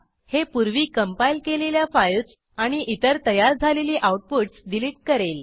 हे पूर्वी कंपाईल केलेल्या फाईल्स आणि इतर तयार झालेली आऊटपुटस डिलीट करेल